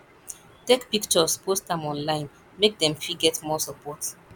take pictures post am online make dem fit get more support